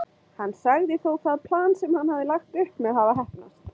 Hann sagði þó það plan sem hann hafði lagt upp með hafa heppnast.